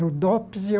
No Dops, e o...